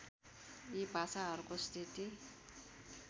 यी भाषाहरूको स्थिति